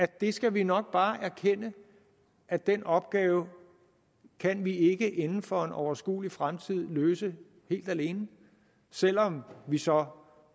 der skal vi nok bare erkende at den opgave kan vi ikke inden for en overskuelig fremtid løse helt alene selv om vi så